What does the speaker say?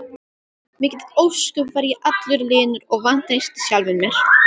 Mikið ósköp var ég allur linur og vantreysti sjálfum mér!